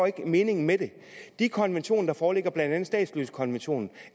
ikke meningen med det de konventioner der foreligger blandt andet statsløsekonventionen